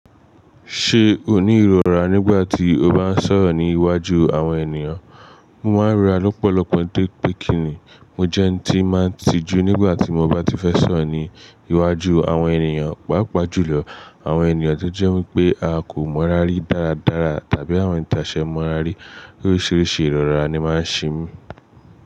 Ṣe o ni irora nigbati o ba n sọ̀rọ̀ ni iwájú àwọn ènìyàn? Mo ma ń rora lọ́pọ̀lọpọ̀ torí pé kí ni. Mo jẹ́ ẹ́n tí ń máa ń tijú nígbà tí mo bá ti fẹ́ sọ̀rọ̀ ní iwájú àwọn ènìyàn, pàápàá jùlọ àwọn ènìyàn tó jẹ́ wípé a kò mọ́ra rí dára dára tàbí àwọn ẹni tase mọ́ra rí. Oríṣiríṣi ìrọra ni máa ń ṣe mí.